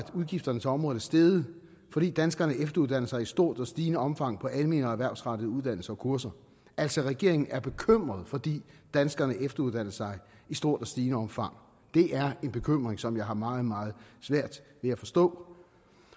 udgifterne til området er steget fordi danskerne efteruddanner sig i stort og stigende omfang på almene og erhvervsrettede uddannelser og kurser altså regeringen er bekymret fordi danskerne efteruddanner sig i stort og stigende omfang det er en bekymring som jeg har meget meget svært ved at forstå